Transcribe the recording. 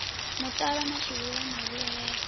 muṱavha ḽa shulula ḽa vhuelela